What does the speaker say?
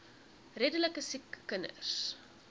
redelike siek kinders